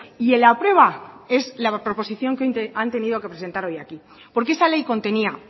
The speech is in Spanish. y en la prueba es la proposición que hoy han tenido que presentar hoy aquí porque esa ley contenía